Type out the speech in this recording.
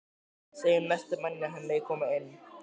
Segðu næsta manni að hann megi koma inn